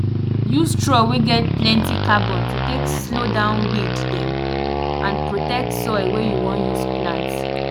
use straw wey get plenty carbon to take slow down weed dem and protect soil wey you wan use plant